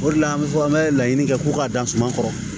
O de la an bɛ fɔ an bɛ laɲini kɛ ko k'a dan suma kɔrɔ